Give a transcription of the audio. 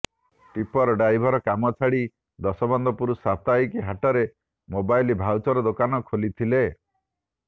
tipper driver କାମ ଛାଡି ଦଶମନ୍ତପୁର ସାପ୍ତାହିକ ହାଟରେ ମୋବାଇଲ ଭାଉଚର ଦୋକାନ ଖୋଲିଥିଲେ